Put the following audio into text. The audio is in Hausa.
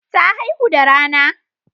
Ta haihu da rana.